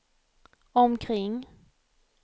omkring